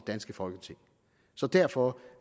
danske folketing så derfor